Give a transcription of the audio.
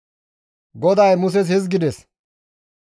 GODAY Muses hizgides,